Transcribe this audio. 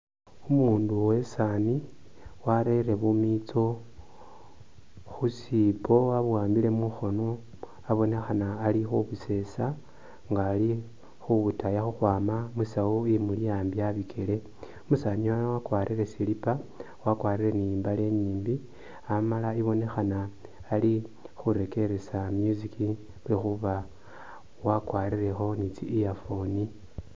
Umundu uwe sani warere bumitso khusipo wabuwambile mu mukhono abonekhana ali khubusesa nga ali khubutaya khu khwama mu sawu imuli ambi abikyele, umusani yuno wakwarire slipper, wakwarire ni imbale inyimbi amala ibonekhana nga ali khurekeresa music lwekhuba wakwarirekho ni tsi earphone.